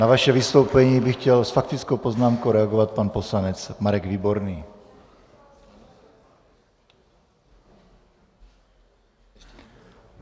Na vaše vystoupení by chtěl s faktickou poznámkou reagovat pan poslanec Marek Výborný.